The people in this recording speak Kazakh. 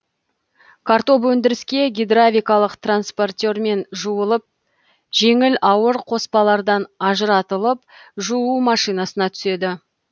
картоп өндіріске гидравликалық транспортермен жуылып жеңіл ауыр қоспалардан ажыратылып жуу машинасына түседі